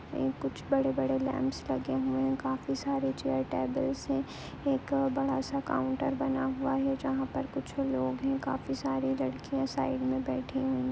ये कुछ बड़े बड़े लैंप्स लगे हैं। काफी सारे चेयर टेबल्स हैं। एक बड़ा सा काउंटर बना हुआ है जहाँ पर कुछ लोग है। काफी सारी लड़कियाँ साइड में बैठी हुई हैं।